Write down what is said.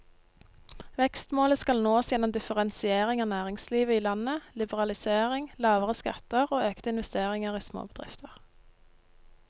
Vekstmålet skal nås gjennom differensiering av næringslivet i landet, liberalisering, lavere skatter og økte investeringer i småbedrifter.